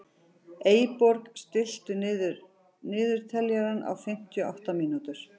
Eyborg, stilltu niðurteljara á fimmtíu og átta mínútur.